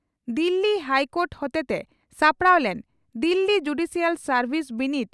Delhi high court ᱦᱚᱛᱮᱛᱮ ᱥᱟᱯᱲᱟᱣ ᱞᱮᱱ ᱫᱤᱞᱤ ᱡᱩᱰᱤᱥᱤᱭᱟᱞ ᱥᱟᱨᱵᱷᱤᱥ ᱵᱤᱱᱤᱰ